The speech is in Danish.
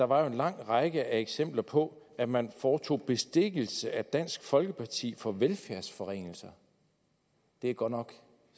var en lang række af eksempler på at man foretog bestikkelse af dansk folkeparti til for velfærdsforringelser det er godt nok